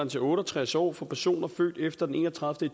til otte og tres år for personer født efter den enogtredivete